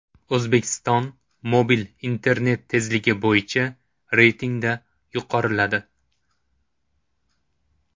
O‘zbekiston mobil internet tezligi bo‘yicha reytingda yuqoriladi.